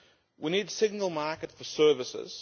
We need a single market for services.